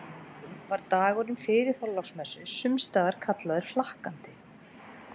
Af þeim sökum var dagurinn fyrir Þorláksmessu sumstaðar kallaður hlakkandi.